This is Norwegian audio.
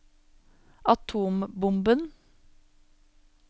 atombomben